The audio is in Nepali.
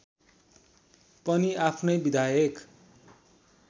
पनि आफ्नै विधायक